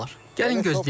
Gəlin gözləyək.